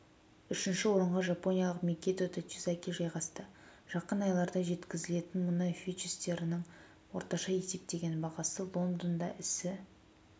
үшінші орынға жапониялық микито тачизаки жайғасты жақын айларда жеткізілетін мұнай фьючерстерінің орташа есептеген бағасы лондонда ісі